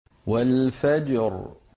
وَالْفَجْرِ